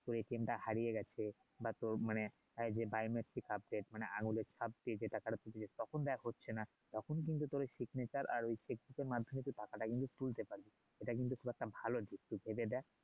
তোর টা হারিয়ে গেছে বা তোর মানে যে আছে বা মানে আঙুলের ছাপটি যেটা কারো হচ্ছে না তখন কিন্তু তোর আর মাধ্যমে কিন্তু টাকা টা তুলতে পারবি সেটা কিন্তু একটা ভালো দিক তুই ভেবে দেখ